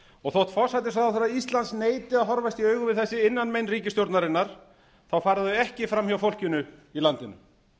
og þótt forsætisráðherra íslands neiti að horfast í augu við þessi innanmein ríkisstjórnarinnar fara þau ekki fram hjá fólkinu í landinu